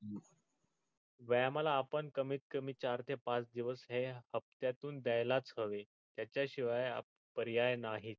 व्यायामाला आपण कमीत कमी चार ते पाच दिवस हे हपत्यातून द्यायलच हवे त्याच्या शिवाय पर्याय नाही.